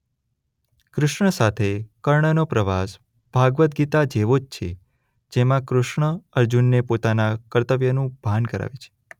કૃષ્ણ સાથે કર્ણનો પ્રવાસ ભાગવદ ગીતા જેવો જ છે જેમાં કૃષ્ણ અર્જુનને પોતાના કર્તવ્યનું ભાન કરાવે છે.